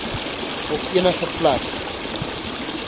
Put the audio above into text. op enige plek